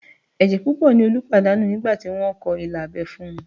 Ẹ̀jẹ̀ púpọ̀ ni Olú pàdánù nígbà tí wọ́n kọ ilà abẹ́ fún un